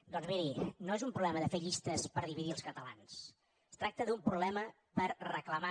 doncs miri no és un problema de fer llistes per dividir els catalans es tracta d’un problema per reclamar